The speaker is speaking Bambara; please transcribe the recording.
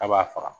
K'a b'a faga